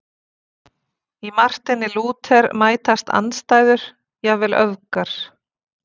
Í Marteini Lúther mætast andstæður, jafnvel öfgar.